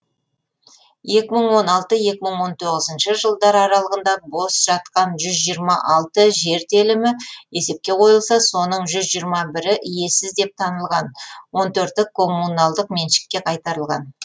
жылдар аралығында бос жатқан жер телімі есепке қойылса соның і иесіз деп танылған і коммуналдық меншікке қайтарылған